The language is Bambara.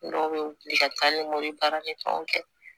Dɔw bɛ wuli ka taa ni m'u ye baarakɛ fɛnw kɛ